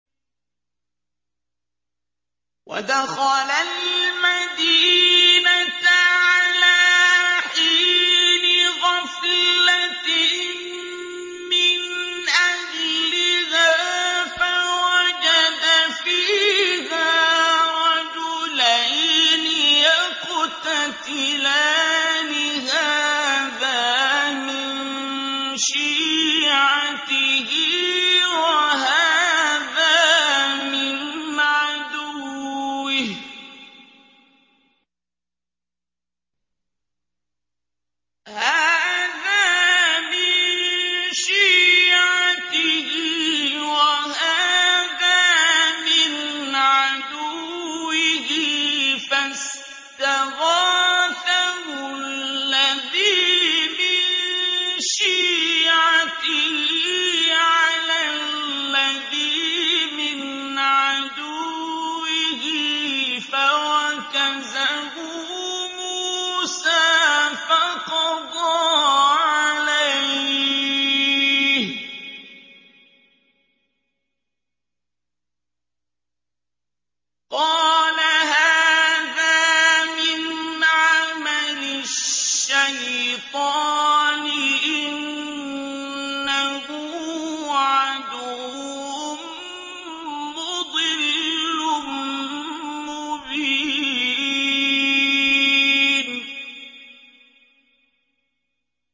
وَدَخَلَ الْمَدِينَةَ عَلَىٰ حِينِ غَفْلَةٍ مِّنْ أَهْلِهَا فَوَجَدَ فِيهَا رَجُلَيْنِ يَقْتَتِلَانِ هَٰذَا مِن شِيعَتِهِ وَهَٰذَا مِنْ عَدُوِّهِ ۖ فَاسْتَغَاثَهُ الَّذِي مِن شِيعَتِهِ عَلَى الَّذِي مِنْ عَدُوِّهِ فَوَكَزَهُ مُوسَىٰ فَقَضَىٰ عَلَيْهِ ۖ قَالَ هَٰذَا مِنْ عَمَلِ الشَّيْطَانِ ۖ إِنَّهُ عَدُوٌّ مُّضِلٌّ مُّبِينٌ